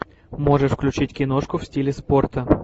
можешь включить киношку в стиле спорта